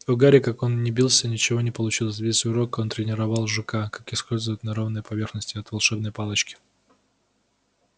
у гарри как он ни бился ничего не получилось весь урок он тренировал жука как ускользать на ровной поверхности от волшебной палочки